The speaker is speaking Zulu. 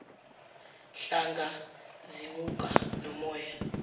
nhlanga zimuka nomoya